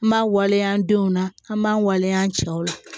An m'a waleya an denw na an b'an waleya an cɛw la